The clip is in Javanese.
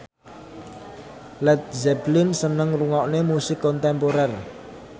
Led Zeppelin seneng ngrungokne musik kontemporer